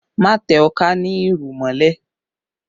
Má tẹ ọká ní irù mọ́lẹ̀